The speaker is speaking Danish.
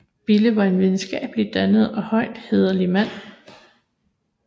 Bille var en videnskabelig dannet og højst hæderlig mand